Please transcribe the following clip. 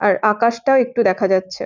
আর আকাশ টাও একটু দেখা যাচ্ছে ।